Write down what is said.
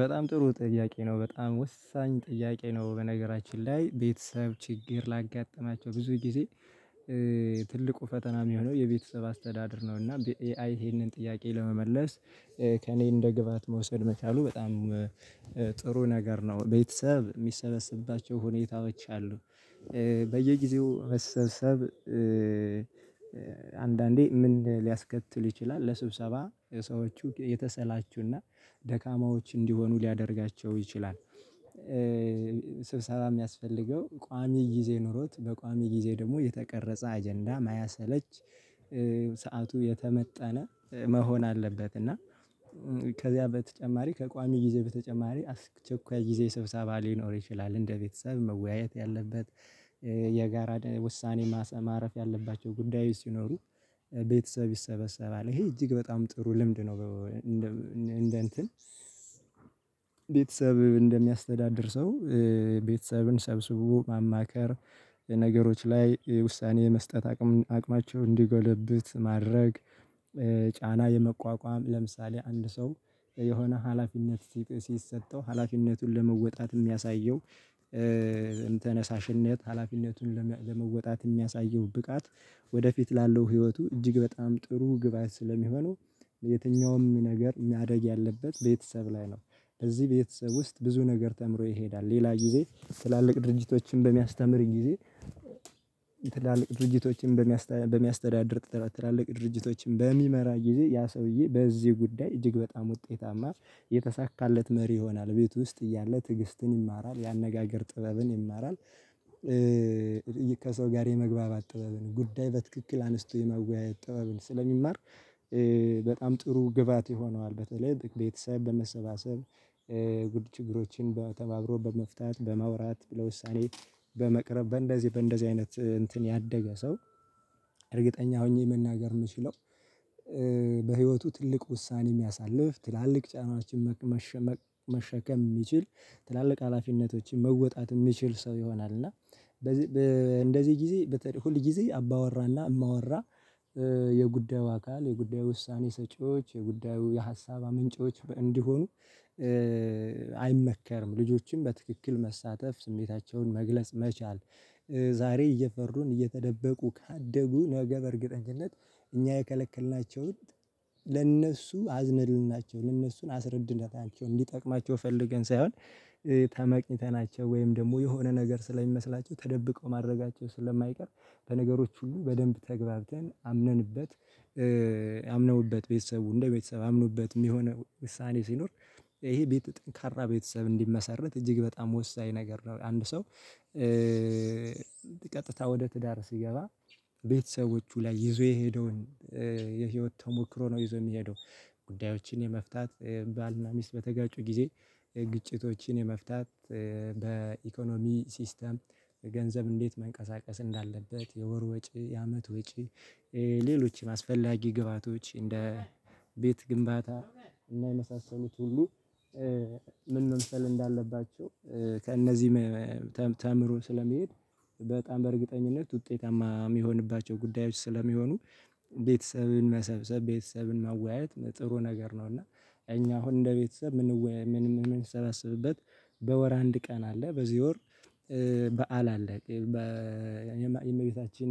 በጣም ጥሩ ጥያቄ ነው በጣም ወሳኝ ጥያቄ ነው በነገራችን ላይ ቤተሰብ ችግር ላጋጠማቸው ብዙ ጊዜ። ትልቁ ፈተና የሚሆነው የቤተሰብ አስተዳደር ነው እና ይሄንን ጥያቄ ለመመለስ ከእኔ እንደ ግብአት መውሰድ መቻሉ በጣም ጥሩ ነገር ነው። ቤተሰብ የሚሰበስባቸው ሁኔታዎች አሉ። በየጊዜው መሰብሰብ አንዳንዴ ምን ሊያስከትል ይችላል ለስብሰባ ሰዎቹ የተሰላቹና ደካማዎች እንዲሆኑ ሊያደርጋቸው ይችላል። ስብሰባ የሚያስፈልገው ቋሚ ጊዜ ኖሮት በቋሚ ጊዜ ደግሞ የተቀረጸ አጀንዳ ማያሰለች። ሰዓቱ የተመጠነ መሆን አለበት እና። ከዚያ በተጨማሪ ከቋሚ ጊዜ በተጨማሪ አስቸኳይ ጊዜ ስብሰባ ሊኖር ይችላል እንደ ቤተሰብ መወያየት ያለበት የጋራ ውሳኔ ማሰብ ማረፍ ያለባቸው ጉዳዩ ሲኖሩ ቤተሰብ ይሰበሰባል ይሄ እጅግ በጣም ጥሩ ልምድ ነው። እንደ እንትን ቤተሰብ እንደሚያስተዳድር ሰው ቤተሰብን ሰብስቦ ማማከር ነገሮች ላይ ውሳኔ የመስጠት አቅም አቅማቸውን እንዲጎለብት ማድረግ። ጫና የመቋቋም ለምሳሌ አንድ ሰው የሆነ ሀላፊነት ሲሰጠው ሀላፊነቱን ለመወጣት የሚያሳየው ተነሳሽነት ሀላፊነቱን ለመወጣት የሚያሳየው ብቃት ወደፊት ላለው ህይወቱ እጅግ በጣም ጥሩ ግባት ስለሚሆነው። የትኛውም ነገር ማደግ ያለበት ቤተሰብ ላይ ነው። እዚህ ቤተሰብ ውስጥ ብዙ ነገር ተምሮ ይሄዳል ሌላ ጊዜ ትላልቅ ድርጅቶችን በሚያስተምር ጊዜ የትላልቅ ድርጅቶችን በሚያስተዳድር ትላልቅ ድርጅቶችን በሚመራ ጊዜ ያ ሰውዬ በዚህ ጉዳይ እጅግ በጣም ውጤታማ የተሳካለት መሪ ይሆናል ቤት ውስጥ እያለ ትግስትን ይማራል የአነጋገር ጥበብን ይማራል። ከሰው ጋር የመግባባት ጥበብን ጉዳይ በትክክል አንስቶ የመወያየት ጥበብን ስለሚማር በጣም ጥሩ ግብአት ይሆነዋል። በተለይ ትክክል ቤተሰብ በመሰባሰብ ግድ ችግሮችን በተባብሮ በመፍታት በማውራት ብለው ውሳኔ በመቅረብ በእንደዚህ በእንደዚህ አይነት እንትን ያደገ ሰው እርግጠኛ ሆኜ መናገር የምችለው። በህይወቱ ትልቅ ውሳኔ የሚያሳልፍ ትላልቅ ጫናችን የሚሽከም መሸከም የሚችል ትላልቅ ሀላፊነቶችን መወጣት የሚችል ሰው ይሆናል። እና እንደዚህ እንደዚህ ጊዜ በተለይ ሁል ጊዜ አባወራና እማወራ የጉዳዩ አካል የጉዳዩ ውሳኔ ሰጪዎች የጉዳዩ የሀሳብ አመንጪዎች እንዲሆኑ አይመከርም። ልጆችን በትክክል መሳተፍ ስሜታቸውን መግለጽ መቻል ዛሬ እየፈሩን እየተደበቁ ካደጉ ነገ በእርግጠኝነት እኛ የከለከልናቸውን ለእነሱ አዝነንላቸው ሳይሆን ለእነሱን አስረድነታቸውን እንዲጠቅማቸው ፈልገን ሳይሆን ተመቅኝተናቸው ወይም ደግሞ የሆነ ነገር ስለሚመስላቸው ተደብቀው ማድረጋቸው ስለማይቀር በነገሮች ሁሉ በደንብ ተግባብተን አምነንበት አምነውበት ቤተሰቡ እንደ ቤተሰብ አምኖበት የሚሆነው ውሳኔ ሲኖር ይሄ ቤት ጠንካራ ቤተሰብ እንዲመሰርት እጅግ በጣም ወሳኝ ነገር ነው። አንድ ሰው ቀጥታ ወደ ትዳር ሲገባ ቤተሰቦቹ ላይ ይዞ የሄደውን የህይወት ተሞክሮ ነው ይዞ የሚሄደው ጉዳዮችን የመፍታት ባልና ሚስት በተጋጩ ጊዜ ግጭቶችን የመፍታት። ሲስተም ገንዘብ እንዴት መንቀሳቀስ እንዳለበት የወር ወጪ የአመት ወጪ ሌሎችም አስፈላጊ ግብአቶች እንደ ቤት ግንባታ እና የመሳሰሉት ሁሉ ምን መምሰለህ እንዳለባቸው ከእነዚህ ተምሮ ስለሚሄድ በጣም በእርግጠኝነት ውጤታማ የሚሆንባቸው ጉዳዮች ስለሚሆኑ ቤተሰብን መሰብሰብ ቤተሰብን ማወያየት ጥሩ ነገር ነው። እና እኛ አሁን እንደ ቤተሰብ የምንወያይ የምንሰበስብበት በወር አንድ ቀን አለ በዚህ ወር በዓል አለ። የእመቤታችን